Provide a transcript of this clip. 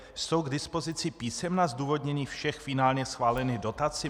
Jsou k dispozici písemná zdůvodnění všech finálně schválených dotací?